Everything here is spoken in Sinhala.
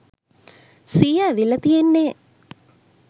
සීය ඇවිල්ල තියෙන්නෙ.